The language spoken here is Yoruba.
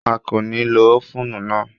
A kò ní lo ófùnù náà